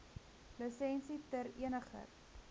lisensie ter eniger